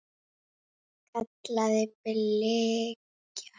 kallaði Bylgja á móti.